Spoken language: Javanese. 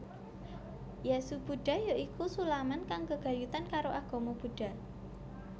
Jasu Buddha ya iku sulaman kang gegayutan karo agama Buddha